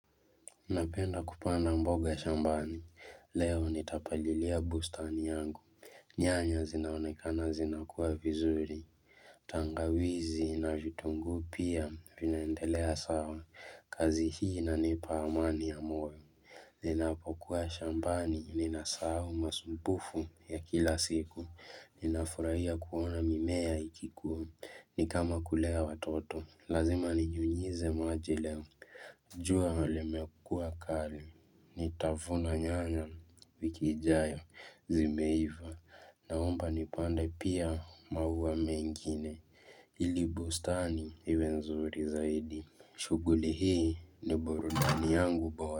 Napenda kupanda mboga shambani, leo nitapalilia bustani yangu Nyanya zinaonekana zinakua vizuri, tangawizi na vitunguu pia, vinaendelea sawa, kazi hii inanipa amani ya moyo Ninapokuwa shambani, ninasahau masumbufu ya kila siku, ninafurahia kuona mimea ikikua, ni kama kulea watoto, lazima ninyunyize maji leo jua limekuwa kali, nitavuna nyanya, wiki ijayo, zimeiva, naomba nipande pia maua mengine, ili bustani, iwe nzuri zaidi, shughuli hii, ni burudani yangu bora.